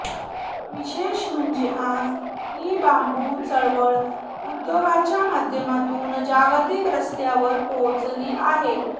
विशेष म्हणजे आज ही बांबू चळवळ उद्योगाच्या माध्यमातून जागतिक स्तरावर पोहोचली आहे